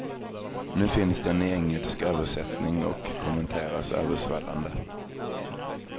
Nu finns den i engelsk översättning och kommenteras översvallande.